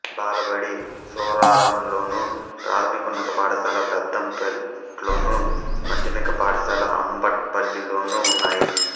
బాలబడి సూరారంలోను ప్రాథమికోన్నత పాఠశాల పెద్దంపేట్లోను మాధ్యమిక పాఠశాల అంబట్పల్లిలోనూ ఉన్నాయి